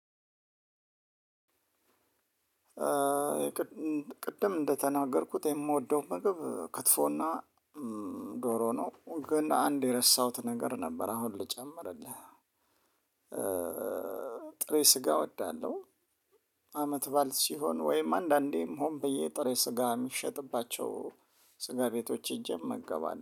ቅድም እንደተናገርኩት የምወደው ምግብ ክትፎና ዶሮ ነው ግን አንድ የረሳሁት ነገር ነበር አሁን ልጨምርልህ ጥሬ ስጋ እወዳለሁ። አመት ባዓል ሲሆን ወይም አንዳንዴም ሆም ብዬ ጥሬ ስጋ የሚሸጥባቸው ስጋ ቤቶች ሂጄ እመገባለሁ